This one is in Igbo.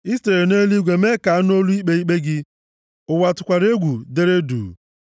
I sitere nʼeluigwe mee ka a nụ olu ikpe ikpe gị. Ụwa tụkwara egwu, dere duu,